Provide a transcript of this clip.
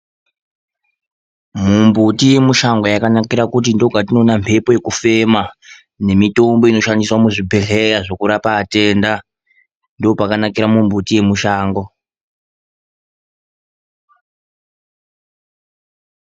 Mumbuti yemishango yakanakira kuti ndokwatinoona mhepo yekufema, nemitombo inoshandiswa muzvibhedhlera yekurapa atenda. Ndopakanakira mumbuti yemishango.